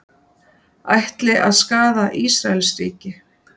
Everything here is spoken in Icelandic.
Ætli að skaða Ísraelsríki